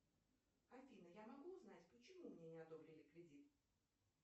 афина я могу узнать почему мне не одобрили кредит